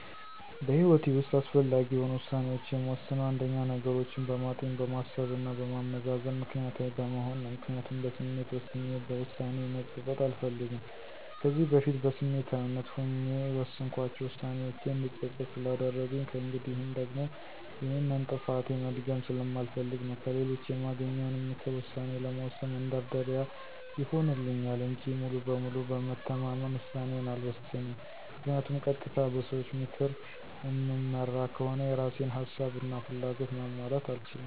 በህይወቴ ውሰጥ አስፈላጊ የሆኑ ውሳኔዎችን የምወስነው አንደኛ፦ ነገሮችን በማጤን፣ በማሰብ እና በማመዛዘን ምክኒያታዊ በመሆን ነው። ምክንያቱም በስሜት ወስኜ በውሳኔዬ መፀፀት አልፈልግም። ከዚህ በፊት በስሜታዊነት ሆኜ የወሰንኳቸው ዉሳኔዎቼ እንድፀፀት ስላደረጉኝ ከእንግዲህም ደግሞ ይሄንን ጥፋቴ መድገም ስለማልፈልግ ነው። ከሌሎች የማገኘውንም ምክር ውሳኔ ለመወሰን መንደርደሪያ ይሆንልኛል እንጂ ሙሉ በሙሉ በመተማመን ውሳኔዬን አልወሰንም ምክንያቱም ቀጥታ በሰዎች ምክር እምመራ ከሆነ የእራሴን ሀሳብ እና ፍላጎት ማሟላት አልችልም።